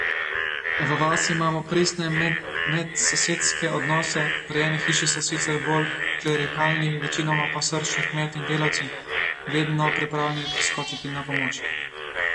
V vasi imamo pristne medsosedske odnose, pri eni hiši so sicer bolj klerikalni, večinoma pa srčni kmetje in delavci, vedno pripravljeni priskočiti na pomoč.